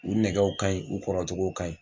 U nɛgɛw ka ɲi u kɔrɔcogow ka ɲi.